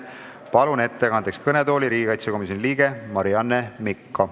Palun ettekandeks kõnetooli riigikaitsekomisjoni liikme Marianne Mikko!